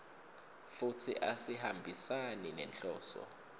futsi asihambisani nenhloso